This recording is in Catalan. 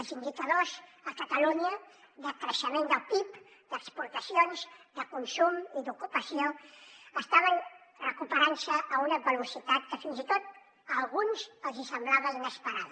els indicadors a catalunya de creixement del pib d’exportacions de consum i d’ocupació estaven recuperant se a una velocitat que fins i tot a alguns els hi semblava inesperada